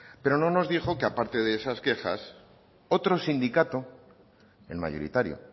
pero no nos dijo que a parte de esas quejas otro sindicato el mayoritario